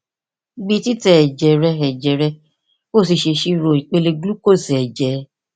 gbi titẹ ẹjẹ rẹ ẹjẹ rẹ ki o si ṣe iṣiro ipele glucose ẹjẹ rẹ